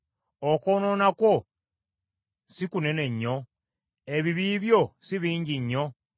Okwonoona kwo si kunene nnyo? Ebibi byo si bingi nnyo?